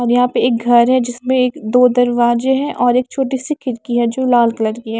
और यहाँ पे एक घर है जिसमें एक दो दरवाजे हैं और एक छोटी सी खिड़की है जो लाल कलर की है।